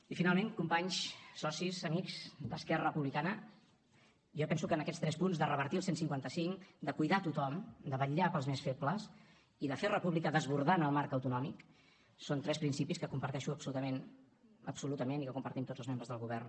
i finalment companys socis amics d’esquerra republicana jo penso que en aquests tres punts de revertir el cent i cinquanta cinc de cuidar a tothom de vetllar pels més febles i de fer república desbordant el marc autonòmic són tres principis que comparteixo absolutament absolutament i que compartim tots els membres del govern